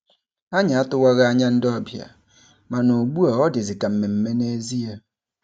Anyị atụwaghị anya ndị ọbịa, mana ugbu a ọ dịzi ka mmemme nezie.